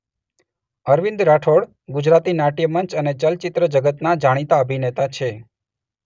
અરવિંદ રાઠોડ ગુજરાતી નાટ્યમંચ અને ચલચિત્ર જગતના જાણીતા અભિનેતા છે.